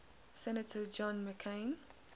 senator john mccain